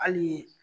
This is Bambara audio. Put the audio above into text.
Hali